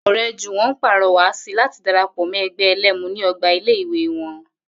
Ò̩ré̩ Jùwó̩n ń pàro̩wà si láti dara pò̩ mó̩ e̩gbé̩ e̩lé̩mu ní o̩gbà ilé ìwé wo̩n